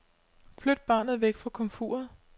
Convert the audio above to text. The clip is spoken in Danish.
Flyt barnet væk fra komfuret.